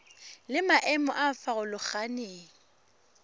le maemo a a farologaneng